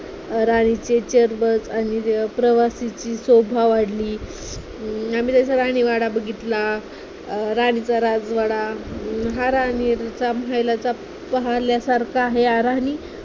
राणीचे आणि प्रवाशाची शोभा वाढली, अं आम्ही राणीवाडा बघितला अं राणीचा राजवाडा, महाराणीचा महालही पाहण्यासारखा आहे. याला राणी